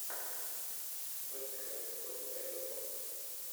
вест хэм против эвертона